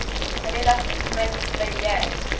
relatief min beheer